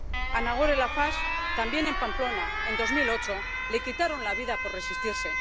A Nagore Laffage, también en Pamplona, en 2008, le quitaron la vida por resistirse.